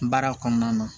Baara kɔnɔna na